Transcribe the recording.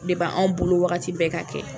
Depi anw bolo wagati bɛɛ ka kɛ.